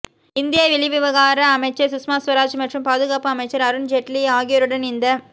இந்திய வெளிவிகார அமைச்சர் சுஸ்மா சுவராஜ் மற்றும் பாதுகாப்பு அமைச்சர் அருன் ஜெயிட்லி ஆகியோருடன் இந்